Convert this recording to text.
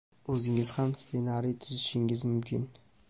o‘zingiz ham ssenariy tuzishingiz mumkin.